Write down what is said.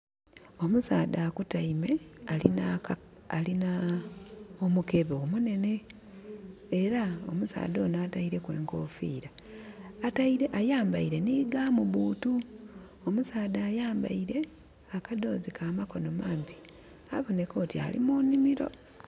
Omusaadha akotaime, alina aka, alina omukebe omunhenhe. Era omusaadha onho ataileku enkofiira. Ayambaire nhi gum boot. Omusaadha ayambaile akadhoozi ka makono mampi. Abonheka oti ali mu nhimiro.